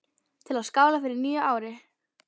Til að skála í fyrir nýju ári.